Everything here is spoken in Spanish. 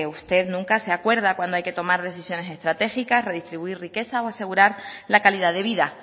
usted nunca se acuerda cuando hay que tomar decisiones estratégicas redistribuir riquezas o asegurar la calidad de vida